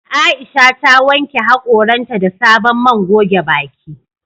Aisha ta wanke hakoran ta da sabon man goge baki."